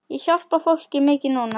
Ég hjálpa fólki mikið núna.